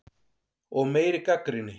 Og meiri gagnrýni.